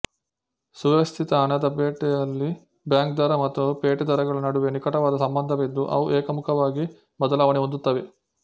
ಸುವ್ಯವಸ್ಥಿತ ಹಣದ ಪೇಟೆಯಲ್ಲಿ ಬ್ಯಾಂಕ್ ದರ ಮತ್ತು ಪೇಟೆ ದರಗಳ ನಡುವೆ ನಿಕಟವಾದ ಸಂಬಂಧವಿದ್ದು ಅವು ಏಕಮುಖವಾಗಿ ಬದಲಾವಣೆ ಹೊಂದುತ್ತವೆ